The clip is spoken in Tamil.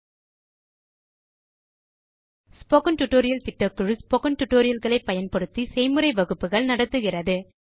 ஸ்போக்கன் டியூட்டோரியல் களை பயன்படுத்தி ஸ்போக்கன் டியூட்டோரியல் திட்டக்குழு செய்முறை வகுப்புகள் நடத்துகிறது